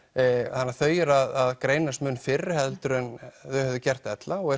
þannig þau eru að greinast mun fyrr heldur en þau hefðu gert ella og